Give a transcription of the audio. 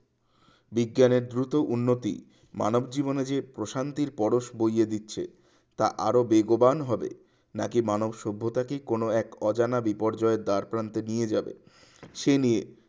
বিজ্ঞানের দ্রুত উন্নতি মানব জীবনে যে প্রশান্তির পরশ বইয়ে দিচ্ছে তা আরো বেগবান হবে নাকি মানব সভ্যতা কি কোন এক অজানা বিপর্যয়ের দ্বার প্রান্তে নিয়ে যাবে সে নিয়ে